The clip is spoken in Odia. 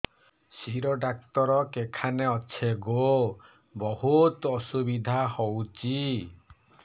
ଶିର ଡାକ୍ତର କେଖାନେ ଅଛେ ଗୋ ବହୁତ୍ ଅସୁବିଧା ହଉଚି